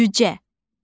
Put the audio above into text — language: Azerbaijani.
Cücə.